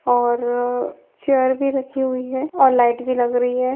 और चेयर भी रखी हुई हैऔर लाइट भी लग रही है।